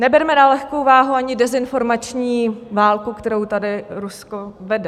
Neberme na lehkou váhu ani dezinformační válku, kterou tady Rusko vede.